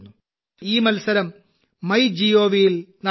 ഈ മത്സരം MyGovൽ നടന്നുവരുന്നു